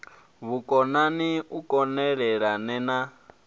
vhukonani u kon elelana na